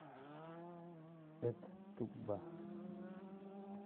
эт тукба